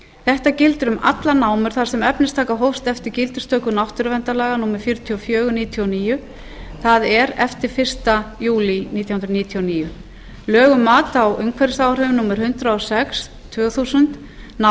þetta gildir um allar námur þar sem efnistaka hófst eftir gildistöku náttúruverndarlaga númer fjörutíu og fjögur nítján hundruð níutíu og níu það er eftir fyrsta júlí nítján hundruð níutíu og níu lög um mat á umhverfisáhrifum númer hundrað og sex tvö þúsund ná